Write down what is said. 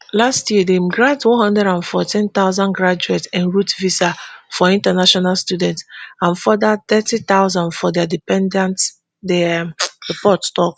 last year dem grant one hundred and fourteen thousand graduateroute visas for international students and further thirty thousand for dia dependants di um report tok.